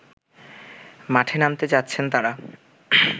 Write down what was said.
মাঠে নামতে যাচ্ছেন তারা